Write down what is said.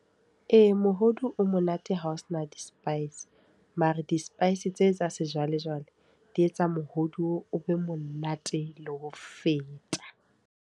Ee, mohodu o monate hao sena di-spice. Mara di-spice tse tsa sejwalejwale di etsa mohodu o be monate le ho feta.